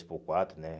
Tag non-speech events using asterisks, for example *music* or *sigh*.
*unintelligible* por quatro, né?